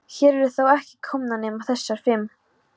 Hér eru þó ekki komnar nema þessar fimm.